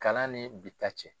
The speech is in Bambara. Kalan ni bita cɛ.